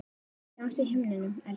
Sjáumst á himnum, elsku pabbi.